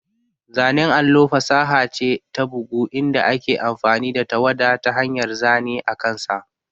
Zanen allo fasaha ce ta bugu inda ake amfani da tawada ta hanyar zane akansa.